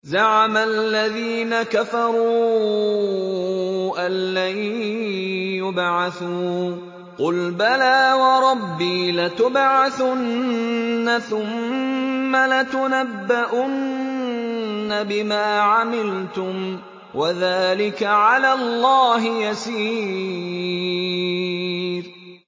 زَعَمَ الَّذِينَ كَفَرُوا أَن لَّن يُبْعَثُوا ۚ قُلْ بَلَىٰ وَرَبِّي لَتُبْعَثُنَّ ثُمَّ لَتُنَبَّؤُنَّ بِمَا عَمِلْتُمْ ۚ وَذَٰلِكَ عَلَى اللَّهِ يَسِيرٌ